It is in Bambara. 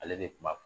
Ale de kun b'a